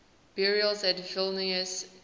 burials at vilnius cathedral